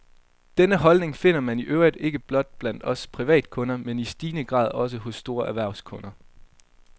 Denne holdning finder man i øvrigt ikke blot blandt os privatkunder, men i stigende grad også hos store erhvervskunder.